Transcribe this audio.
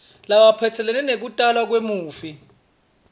lephatselene nekutalwa kwemufi